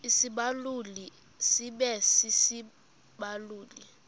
isibaluli sibe sisibaluli